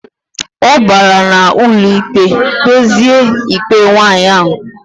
Obara na ụlọikpe kpeze ikpe nwaanyi ahu.